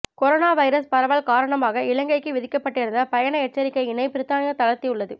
corona virus பரவல் காரணமாக இலங்கைக்கு விதிக்கப்பட்டிருந்த பயண எச்சரிக்கையினை பிரித்தானியா தளர்த்தியுள்ளது